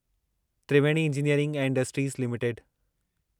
Triveni engineering ऐं industries limited